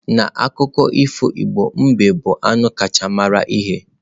N'akụkọ ifo Igbo, mbe bụ anụ kacha mara ihe.